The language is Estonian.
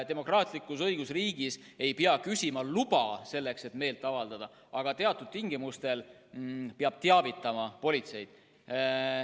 Demokraatlikus õigusriigis ei pea küsima luba selleks, et meelt avaldada, aga teatud tingimustel peab teavitama politseid.